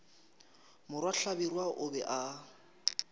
morwa hlabirwa o be a